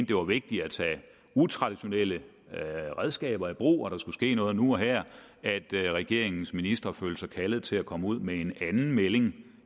det var vigtigt at tage utraditionelle redskaber i brug og at der skulle ske noget nu og her at regeringens ministre følte sig kaldet til at komme ud med en anden melding